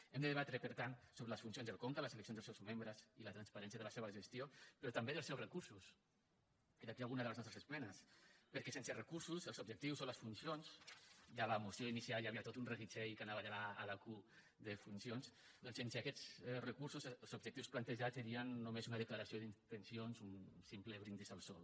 hem de debatre per tant sobre les funcions del conca les eleccions dels seus membre i la transparència de la seva gestió però també dels seus recursos i d’aquí alguna de les nostres esmenes perquè sense recursos els objectius o les funcions ja a la moció inicial hi havia tot un reguitzell que anava de la a a la q recursos els objectius plantejats serien només una declaració d’intencions un simple brindis al sol